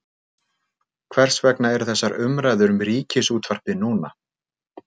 Hvers vegna eru þessar umræður um Ríkisútvarpið núna?